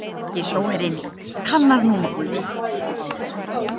Danski sjóherinn kannar nú málið